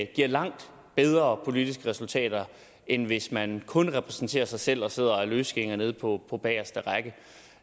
giver langt bedre politiske resultater end hvis man kun repræsenterer sig selv og sidder og er løsgænger nede på på bageste række